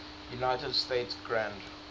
united states grand